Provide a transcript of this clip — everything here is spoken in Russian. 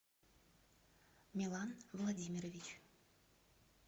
милан владимирович